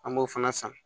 An b'o fana san